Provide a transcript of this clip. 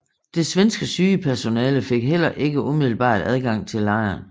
Det svenske sygepersonale fik heller ikke umiddelbart adgang til lejren